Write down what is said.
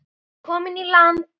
Komin í land.